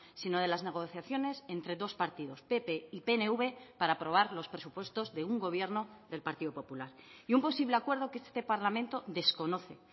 sino de las negociaciones entre dos partidos pp y pnv para aprobar los presupuestos de un gobierno del partido popular y un posible acuerdo que este parlamento desconoce